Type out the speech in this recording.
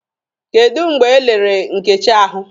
Kedụ mgbe elere Nkechi ahụ?